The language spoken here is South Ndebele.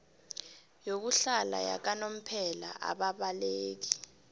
yokuhlala yakanomphela ababaleki